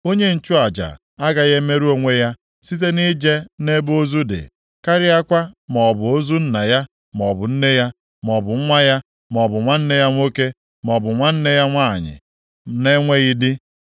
“ ‘Onye nchụaja agaghị emerụ onwe ya site nʼije nʼebe ozu dị, karịakwa maọbụ ozu nna ya maọbụ nne ya, ma o bụ nwa ya, maọbụ nwanne ya nwoke, maọbụ nwanne ya nwanyị na-enweghị di.